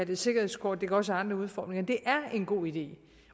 det et sikkerhedskort det kan også havde andre udformninger at det er en god idé